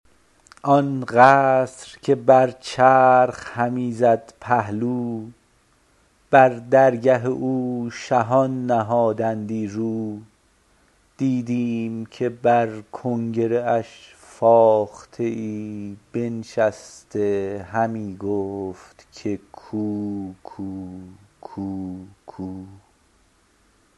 آن قصر که بر چرخ همی زد پهلو بر درگه او شهان نهادندی رو دیدیم که بر کنگره اش فاخته ای بنشسته همی گفت که کوکو کوکو